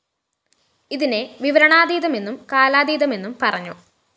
ഇതിനെ വിവരണാതീതമെന്നും കാലാതീതമെന്നും പറഞ്ഞു